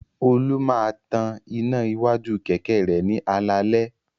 Olú máa tan iná iwájú kẹ̀kẹ́ rẹ̀ ní alaalẹ́.